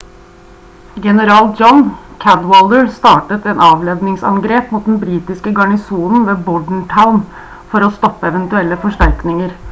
general john cadwalder startet et avledningsangrep mot den britiske garnisonen ved bordentown for å stoppe eventuelle forsterkninger